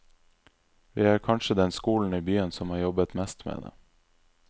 Vi er kanskje den skolen i byen som har jobbet mest med det.